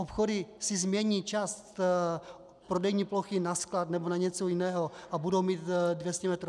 Obchody si změní část prodejní plochy na sklad nebo na něco jiného a budou mít 200 metrů.